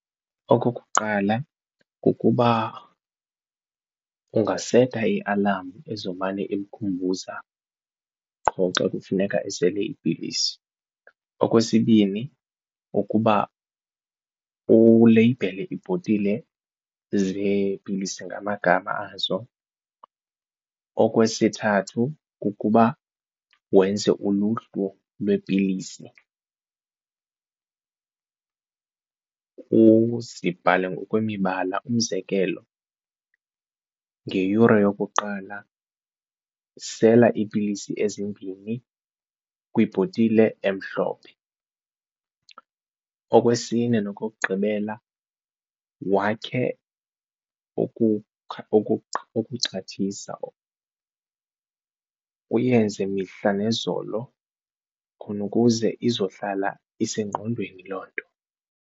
Okokuqala, kukuba ungaseta i-alam ezomane imkhumbuza qho xa kufuneka esele iipilisi. Okwesibini, ukuba uleyibhele ibhotile zeepilisi ngamagama azo. Okwesithathu, kukuba wenze uluhlu lweepilisi uzibhale ngokwe mibala, umzekelo ngeyure yokuqala sela iipilisi ezimbini kwibhotile emhlophe. Okwesine, nokokugqibela wakhe ukuxhathisa uyenze mihla nezolo khona ukuze izohlala isengqondweni loo nto.